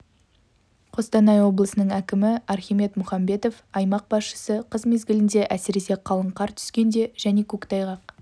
қостанай облысының әкімі архимед мұхамбетов аймақ басшысы қыс мезгілінде әсіресе қалың қар түскенде және көктайғақ